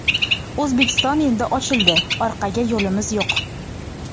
O‘zbekiston endi ochildi, orqaga yo‘limiz yo‘q.